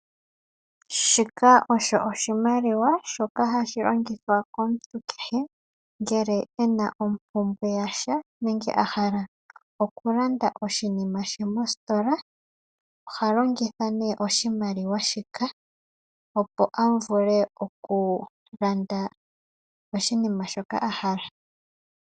Shika osho oshimaliwa shoka hashi longithwa komuntu kehe ngele ena ompumbwe yasha , nenge a hala okulanda oshinima she mositola , oha longitha nee oshimaliwa shika. Opo a vule okulanda oshinima shoka a hala.